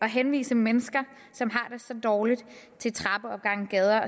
henvise mennesker som har det så dårligt til trappeopgange gader